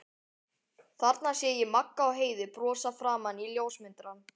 Þarna sé ég Magga og Heiðu brosa framan í ljósmyndarann.